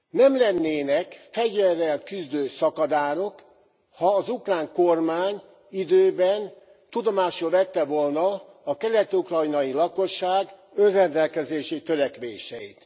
Nem lennének fegyverrel küzdő szakadárok, ha az ukrán kormány időben tudomásul vette volna a kelet ukrajnai lakosság önrendelkezési törekvéseit.